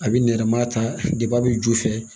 A bɛ nɛrɛmuguma ta deba bɛ ju fɛ